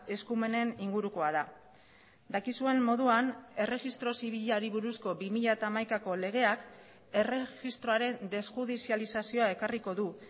eskumeneningurukoa da dakizuen moduan erregistro zibilari buruzko bi mila hamaikako legeak erregistroaren desjudizializazioa ekarriko du